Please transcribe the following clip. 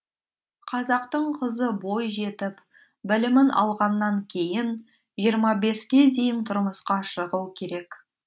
қазақтың қызы бой жетіп білімін алғаннан кейін жиырма беске дейін тұрмысқа шығу керек